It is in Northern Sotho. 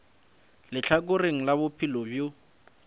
le lehlakore la bophelo bjo